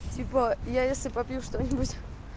типа я если попью что-нибудь